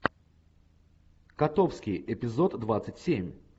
котовский эпизод двадцать семь